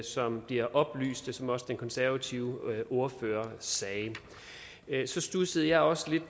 som bliver oplyst som også den konservative ordfører sagde så studsede jeg også lidt